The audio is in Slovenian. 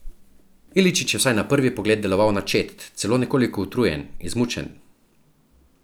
Iličić je vsaj na prvi pogled deloval načet, celo nekoliko utrujen, izmučen.